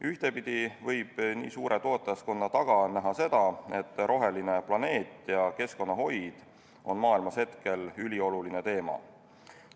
Ühtepidi võib nii suure toetajaskonna taga näha seda, et roheline planeet ja keskkonnahoid on maailmas hetkel ülioluline teema.